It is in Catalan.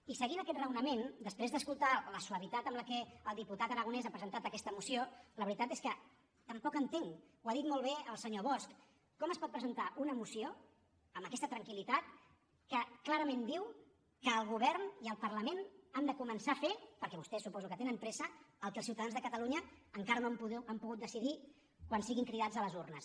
i seguint aquest raonament després d’escoltar la suavitat amb què el diputat aragonès ha presentat aquesta moció la veritat és que tampoc entenc ho ha dit molt bé el senyor bosch com es pot presentar una moció amb aquesta tranquil·litat que clarament diu que el govern i el parlament han de començar a fer perquè vostès suposo que tenen pressa el que els ciutadans de catalunya encara no han pogut decidir quan siguin cridats a les urnes